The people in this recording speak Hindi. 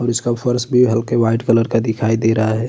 और इसका फर्श भी हल्के व्हाइट कलर का दिखाई दे रहा हैं।